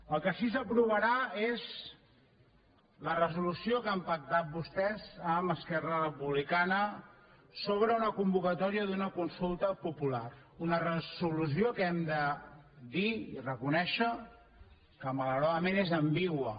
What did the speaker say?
el que sí que s’aprovarà és la resolució que han pactat vostès amb esquerra republicana sobre una convocatòria d’una consulta popular un resolució que hem de dir i reconèixer que malauradament és ambigua